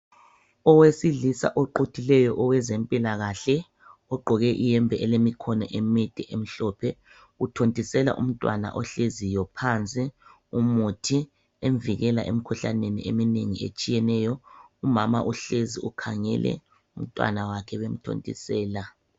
Owesilisa oquthileyo owezempilakahle ugqoke iyembe elemikhono emide emhlophe uthontisela umntwana ohleziyo phansi umuthi emvikela emikhuhlaneni eminengi etshiyeneyo, umama uhlezi ukhangele umntwana wakhe bemthontisela.